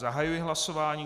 Zahajuji hlasování.